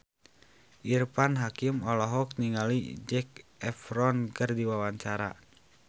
Irfan Hakim olohok ningali Zac Efron keur diwawancara